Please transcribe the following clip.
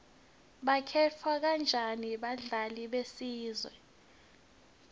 bakhetha kanjani abadlali besizwe